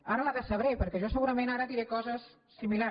ara la decebré perquè jo segurament ara diré coses similars